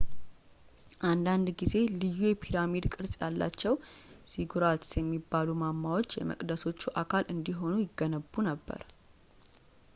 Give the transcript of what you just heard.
አንዳንድ ጊዜ ልዩ የፒራሚድ ቅርፅ ያላቸው ዚጉራትስ የሚባሉ ማማዎች የመቅደሶቹ አካል እንዲሆኑ ይገነቡ ነበር